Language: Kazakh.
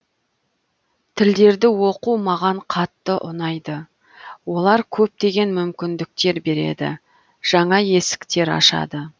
тілдерді оқу маған қатты ұнайды олар көптеген мүмкіндіктер береді жаңа есіктер ашады